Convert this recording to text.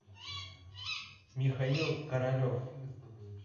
михаил королев